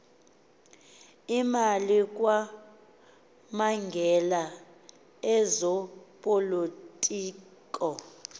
imali kwamagela ezopolitiko